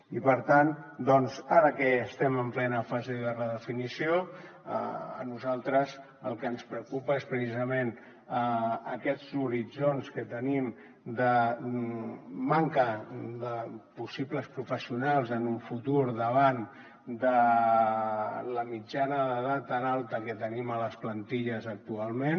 i per tant ara que estem en plena fase de redefinició a nosaltres el que ens preocupa és precisament aquests horitzons que tenim de manca de possibles professionals en un futur davant de la mitjana d’edat tan alta que tenim a les plantilles actualment